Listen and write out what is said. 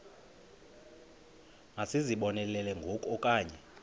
masizibonelele ngoku okanye